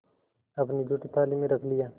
अपनी जूठी थाली में रख लिया